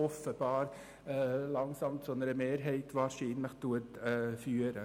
Offenbar erhalten die 8 Prozent wahrscheinlich langsam eine Mehrheit.